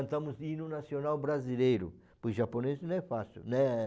cantamos o hino nacional brasileiro, pois japonês não é fácil, né?